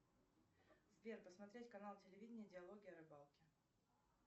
сбер посмотреть канал телевидения диалоги о рыбалке